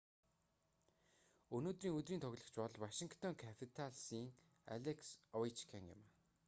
өнөөдрийн өдрийн тоглогч бол вашингтон капиталсын алекс овечкин юм